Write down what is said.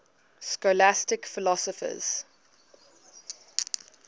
scholastic philosophers